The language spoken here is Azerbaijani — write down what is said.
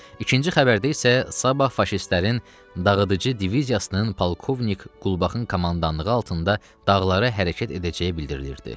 İkinci xəbərdə isə sabah faşistlərin dağıdıcı diviziyasının polkovnik Qulbaxın komandanlığı altında dağlara hərəkət edəcəyi bildirilirdi.